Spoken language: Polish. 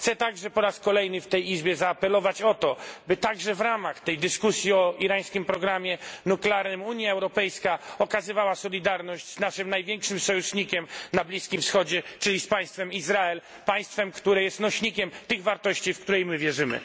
Chcę także po raz kolejny w tej Izbie zaapelować o to, by także w ramach tej dyskusji o irańskim programie nuklearnym Unia Europejska okazywała solidarność z naszym największym sojusznikiem na Bliskim Wschodzie, czyli z Izraelem, państwem, które jest nośnikiem tych wartości, w które i my wierzymy.